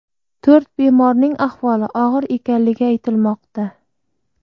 To‘rt bemorning ahvoli og‘ir ekanligi aytilmoqda.